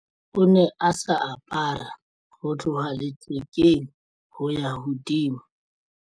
O ne a sa apara ho tloha lethekeng ho ya hodimo.